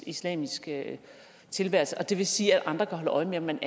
islamisk tilværelse det vil sige at andre kan holde øje med om man